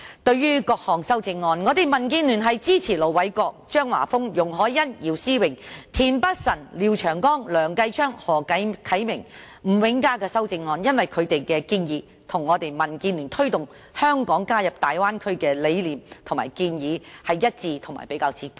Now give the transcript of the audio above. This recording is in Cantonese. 對於各項修正案，民建聯支持盧偉國議員、張華峰議員、容海恩議員、姚思榮議員、田北辰議員、廖長江議員、梁繼昌議員、何啟明議員和吳永嘉議員的修正案，因為他們的建議與民建聯推動香港加入大灣區的理念和建議一致，而且比較接近。